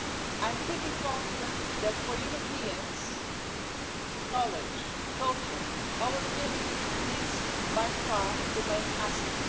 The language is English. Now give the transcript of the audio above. I'm pretty confident that, for Europeans, knowledge, culture, our creativity is by far the main asset.